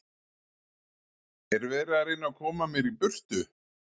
Er verið að reyna að koma mér í burtu?